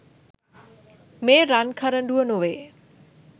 මේ රන් කරඬුව නොවේ.